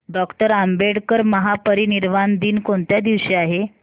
doctor Ambedkar महापरिनिर्वाण दिन कोणत्या दिवशी आहे